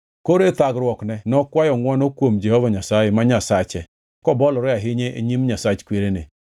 Koro e thagruokne nokwayo ngʼwono kuom Jehova Nyasaye, ma Nyasache kobolore ahinya e nyim Nyasach kwerene.